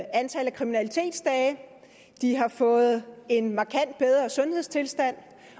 kriminalitetsdage de har fået en markant bedre sundhedstilstand